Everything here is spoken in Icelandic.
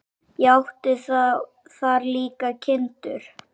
Og átti þar líka kindur.